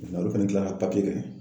Nga olu fɛnɛ kilala ka papiye kɛ.